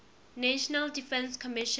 national defense commission